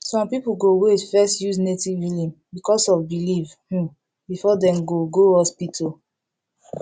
some people go wait first use native healing because of belief um before dem go go hospital